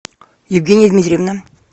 евгения дмитриевна